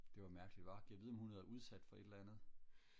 det var mærkeligt hva gad vide om hun har været udsat for et eller andet